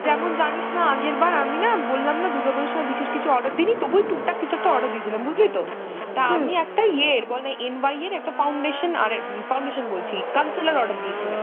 যেমন জানিস না আমি না আগেরবার বললাম না দূর্গা পুজোর সময় বিশেষ কিছু order দিইনি, তবু ওই টুকটাক কিছু একটা অর্ডার দিয়েছিলম বুঝলি তো ? তা আমি একটা ইয়ের বল না NY এর একটা ফাউন্ডেশন আর foundation বলছি concealer order দিয়েছিলাম।